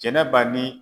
Jɛnɛba ni